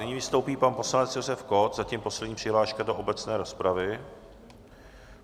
Nyní vystoupí pan poslanec Josef Kott, zatím poslední přihláška do obecné rozpravy.